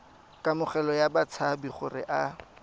kamogelo ya batshabi gore a